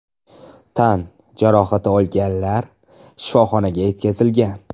Tan jarohati olganlar shifoxonaga yetkazilgan.